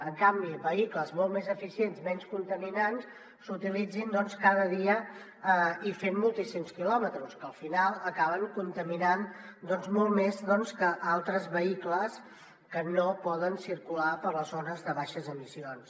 en canvi vehicles molt més eficients menys contaminants s’utilitzin cada dia i fent moltíssims quilòmetres que al final acaben contaminant molt més que altres vehicles que no poden circular per les zones de baixes emissions